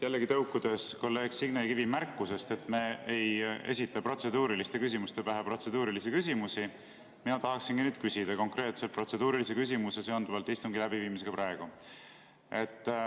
Jällegi, tõukudes kolleeg Signe Kivi märkusest, et me ei esita protseduuriliste küsimuste pähe protseduurilisi küsimusi, tahaksingi ma küsida konkreetse protseduurilise küsimuse seonduvalt istungi läbiviimisega.